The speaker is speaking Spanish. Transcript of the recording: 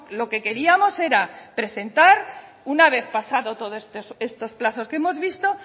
lo que queríamos era presentar una vez pasado todos estos plazos que hemos visto